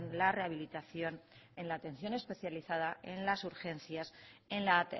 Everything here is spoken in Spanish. la rehabilitación en la atención especializada en las urgencias en la